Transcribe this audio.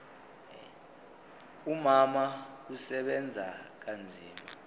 umama usebenza kanzima